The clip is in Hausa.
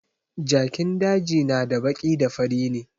Jakin daji na da baki da fari ne